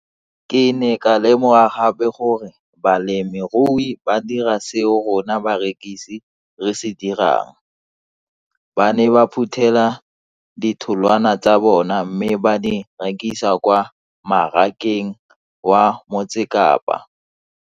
Ke ne ka lemoga gape gore balemirui ba dira seo rona barekisi re se dirang, ba ne ba phuthela ditholwana tsa bona mme ba di rekisa kwa marakeng wa Motsekapa.